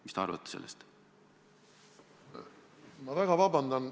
Mis te arvate sellest?